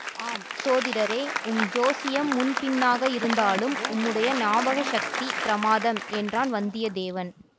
ஆம் சோதிடரே உம் ஜோசியம் முன் பின்னாக இருந்தாலும் உம்முடைய ஞாபக சக்தி பிரமாதம் என்றான் வந்தியத்தேவன்